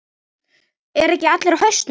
Eru ekki allir á hausnum?